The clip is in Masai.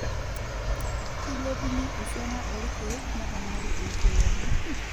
Keilepunyie esiana oorkiek neponari eishioi enye.